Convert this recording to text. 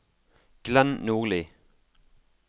Glenn Nordli